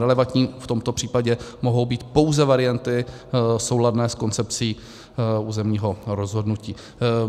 Relevantní v tomto případě mohou být pouze varianty souladné s koncepcí územního rozhodnutí.